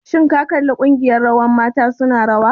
Shin ka kalli ƙungiyar rawar mata su na rawa?